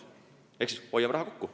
Ehk hoiame raha kokku.